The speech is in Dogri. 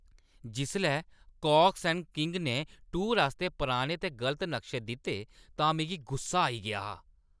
जिसलै कॉक्स ऐंड किंग्स ने टूर आस्तै पुराने ते गलत नक्शे दित्ते तां मिगी गुस्सा आई गेआ हा।